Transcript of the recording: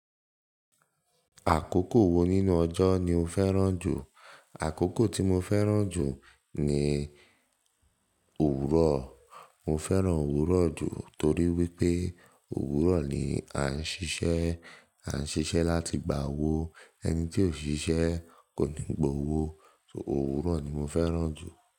Àkókò wo nínú ọjọ́ ni o fẹ́ràn jù? Akoko tí mo fẹ́ràn jù ni owurọ. Mo fẹ́ràn òwúrọ̀ jù torí wípé òwúrọ̀ ni a ń ṣiṣẹ́. A ń ṣiṣẹ́ láti gba owó. Ẹni tí ò ń ṣiṣẹ́ kò ní gba owó. Òwúrọ̀ ni mo fẹ́ràn jù.